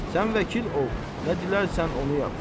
Sən vəkil ol, nə dilərsən onu yap!